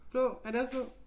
Blå er det også blå?